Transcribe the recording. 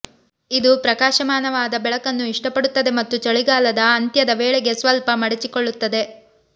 ಇದು ಪ್ರಕಾಶಮಾನವಾದ ಬೆಳಕನ್ನು ಇಷ್ಟಪಡುತ್ತದೆ ಮತ್ತು ಚಳಿಗಾಲದ ಅಂತ್ಯದ ವೇಳೆಗೆ ಸ್ವಲ್ಪ ಮಡಿಚಿಕೊಳ್ಳುತ್ತದೆ